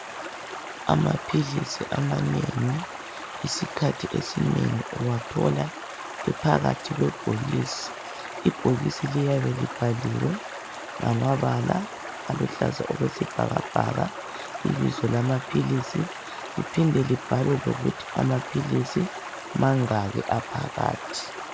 Amaphilisi amanengi isikhathi esinengi uwathola ephakathi kwebhokisi ibhokisi liyabe libhaliwe ngamabala aluhlaza okwesibhakabhaka ibizo lamaphilisi liphinde libhalwe lokuthi Amaphilisi mangaki aphakathi.